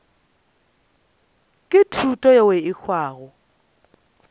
ke thuto yeo e hwago